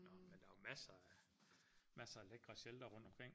Nå men der er jo masser af masser af lækre sheltere rundt omkring